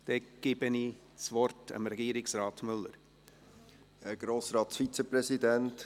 Ich gebe Regierungsrat Müller das Wort.